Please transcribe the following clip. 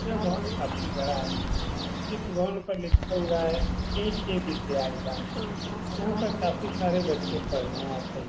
यह भवन काफ़ी बड़ा है। इस भवन पर लिखा हुआ है ए.के. विद्यालया। यहाँ पर काफ़ी सारे बच्चे पढ़ने आते हैं।